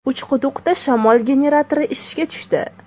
Uchquduqda shamol generatori ishga tushdi.